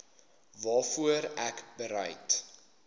waarvoor ek bereid